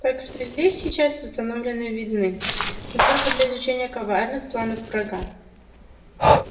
так что здесь сейчас установлены видны но только для изучения коварных планов врага